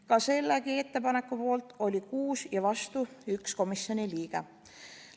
Ka selle ettepaneku poolt oli 6 ja vastu 1 komisjoni liige.